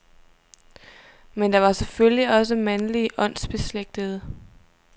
Men der var selvfølgelig også mandlige åndsbeslægtede.